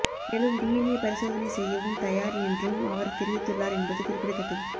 மேலும் டிஎன்ஏ பரிசோதனை செய்யவும் தயார் என்றும் அவர் தெரிவித்துள்ளார் என்பது குறிப்பிடத்தக்கது